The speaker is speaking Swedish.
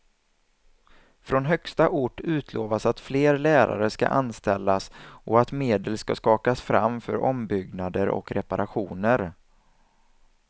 Från högsta ort utlovas att fler lärare ska anställas och att medel ska skakas fram för ombyggnader och reparationer.